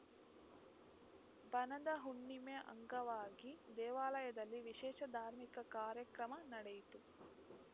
ಬನದ ಹುಣ್ಣಿಮೆ ಅಂಗವಾಗಿ ದೇವಾಲಯದಲ್ಲಿ ವಿಶೇಷ ಧಾರ್ಮಿಕ ಕಾರ್ಯಕ್ರಮ ನಡೆಯಿತು